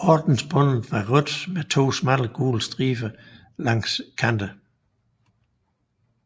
Ordensbåndet var rødt med to smalle gule striber langs kanterne